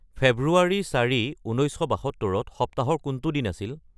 ফেব্ৰুৱাৰী চাৰি উন্নৈশ শ বাসত্তৰত সপ্তাহৰ কোনটো দিন আছিল